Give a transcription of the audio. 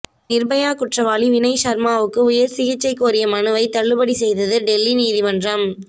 நிர்பயா குற்றவாளி வினய் சர்மாவுக்கு உயர்சிகிச்சை கோரிய மனுவை தள்ளுபடி செய்தது டெல்லி நீதிமன்றம்